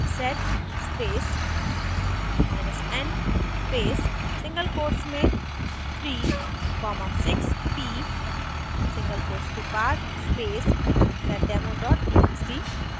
sed spacen space single quotes में 3 comma 6p single quotes के बाद space seddemo txt